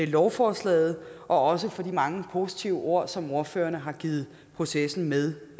lovforslaget og også for de mange positive ord som ordførerne har givet processen med